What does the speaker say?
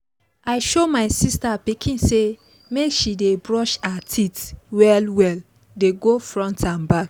i show my sister pikin say make she dey brush her teeth well well dey go front n back